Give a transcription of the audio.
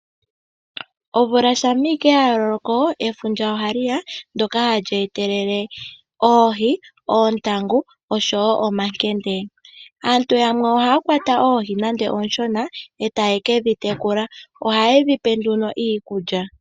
Omvula shampa ashike ya loko, efundja ohali ya, ndoka hali e telele oohi, oontangu no sho wo omankende. Aantu yamwe ohaya kwata oohi nande ooshona eta ye kedhi tekula. Ohaye dhipe nduno iikulya